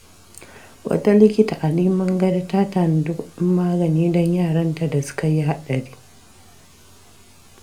Wata likita a Rimin Gado ta tanadi kudin magani don yaranta da suka yi haɗari.